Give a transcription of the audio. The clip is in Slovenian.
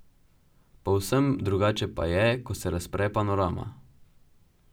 Povsem drugače pa je, ko se razpre panorama.